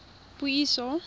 puiso